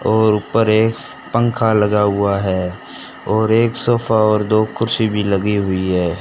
और ऊपर एक पंखा लगा हुआ है और एक सोफा और दो कुर्सी भी लगी हुई है।